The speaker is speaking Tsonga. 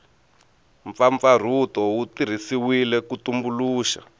mpfapfarhuto wu tirhisiwile ku tumbuluxa